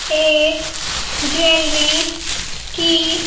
एक ज्वेलरी की --